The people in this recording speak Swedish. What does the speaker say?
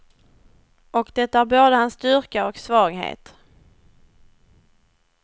Och det är både hans styrka och svaghet.